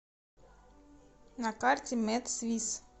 на карте медсвисс